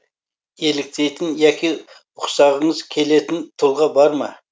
еліктейтін яки ұқсағыңыз келетін тұлға бар ма